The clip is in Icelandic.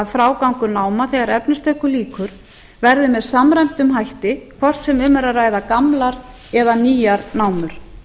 frágangur náma þegar efnistöku lýkur verði með samræmdum hætti hvort sem um er að ræða gamlar eða nýjar námur